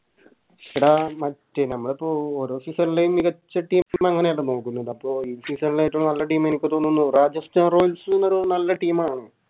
എടാ മറ്റേ ഞമ്മളിപ്പോ ഓരോ Season ലെയും മികച്ച Team അങ്ങനെ അല്ലെ നോക്കുന്നെ അപ്പൊ ഈ Season ലെ ഏറ്റോം നല്ല Team എനിക്ക് തോന്നുന്നു Rajasthan royals ഒരു നല്ല Team